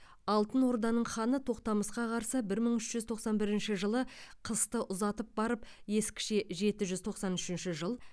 алтын орданың ханы тоқтамысқа қарсы бір мың үш жүз тоқсан бірінші жылы қысты ұзатып барып ескіше жеті жүз тоқсан үшінші жыл